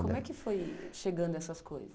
E como é que foi chegando essas coisas?